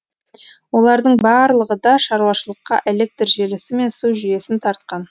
олардың барлығы да шаруашылыққа электр желісі мен су жүйесін тартқан